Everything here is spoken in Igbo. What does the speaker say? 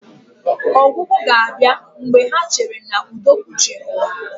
Ọgwụgwụ ga-abịa mgbe ha cheere na udo kpuchiri ụwa